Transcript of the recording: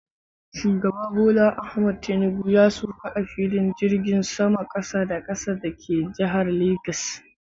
Shugaba Bola Ahmad Tinubu ya sauka a filin jirgin saman Kasa da kasa da ke jihar Legas.